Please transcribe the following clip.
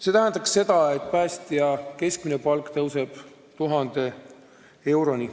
See tähendaks seda, et päästja keskmine palk tõuseb 1000 euroni.